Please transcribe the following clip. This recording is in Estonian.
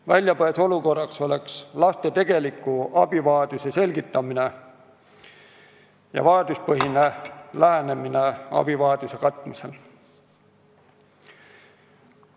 Väljapääs olukorrast oleks laste tegeliku abivajaduse selgitamine ja vajaduspõhine lähenemine abivajaduse katmisel.